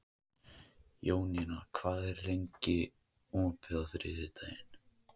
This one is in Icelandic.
Jónína, hvað er opið lengi á þriðjudaginn?